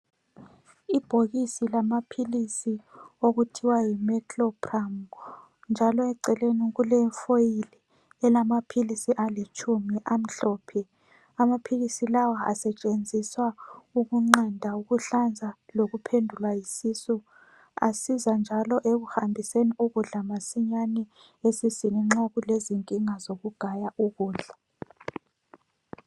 Ibhokisi lamaphilisi okuthwa yi meclopharm, njalo eceleni kule foil elamaphilisi alitshumi amhlophe, amaphilisi lawa asetshenziswa ukunqanda ukuhlanza lokuphendulwa yisisu, asiza njalo ekuhambiseni ukudla masinyane esiswini nxa kulezinkinga zokugaya ukudla